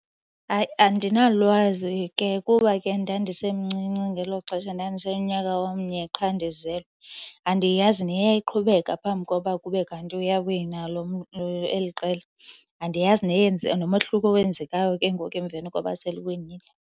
Hayi, andinalwazi ke kuba ke ndandisemncinci ngelo xesha, ndandisenonyaka omnye qha ndizelwe. Andiyazi neyayiqhubeka phambi koba kube kanti uyawina eli qela. Andiyazi neyenza, nomehluko owenzekayo ke ngoku emveni koba seliwinile.